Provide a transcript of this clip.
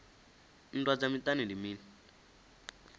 nndwa dza miṱani ndi mini